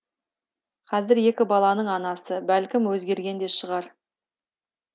қазір екі баланың анасы бәлкім өзгерген де шығар